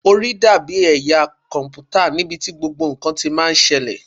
Orí dàbí ẹ̀yà kọ̀m̀pútà níbi tí gbogbo ǹkan ti máa ń ṣẹlẹ̀.